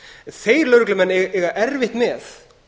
þeir lögreglumenn eiga erfitt með